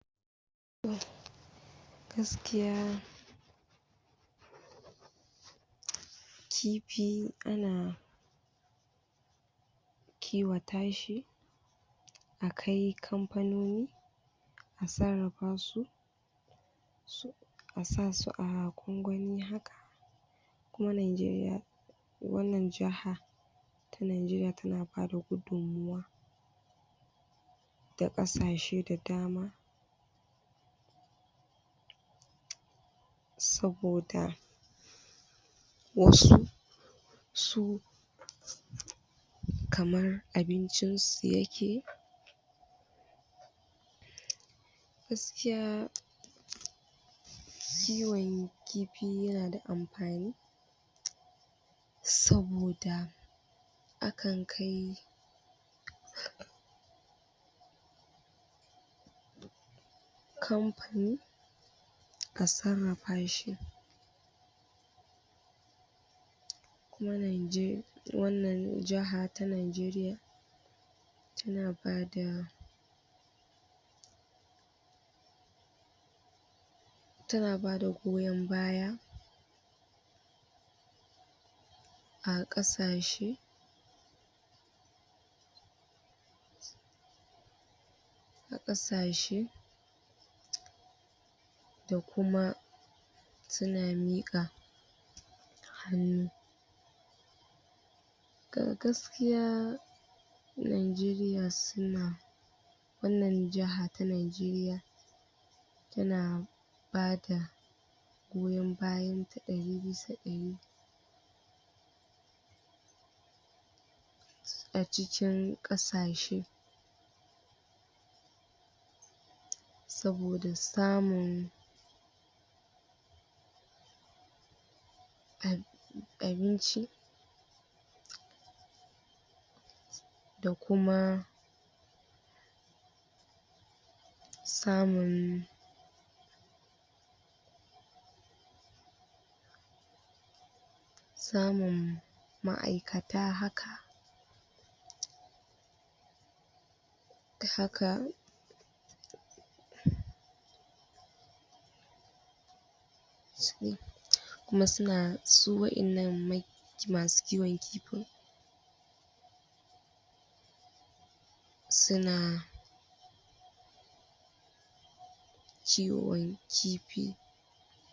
gaskiya kifi ana kiwa tashi akai kamfanoni a sarrafa su a sasu a gwangwani haka ko nigeriya ko wannan jaha ita nigeriya tana bada gudummuwa ga kasashe da dama saboda wasu su kamar abincin su yake gaskiya kiwon kifi yana da ampani saboda akan kai kamfani a sarrafa shi kuma nige wannan jaha ta nigeriya tana bada tana bada goyon baya a kasa she a kasashe da kuma suna mika hannu ga gaskiya nigeriya suna wannan jaha ta nigeriya tana bada goyon bayanta dari bisa dari a cikin kasa she saboda samun abinci da kuma samun samun ma'aikata haka haka kuma suna su wayan nan me masu kiwon kifi suna kiwon kifi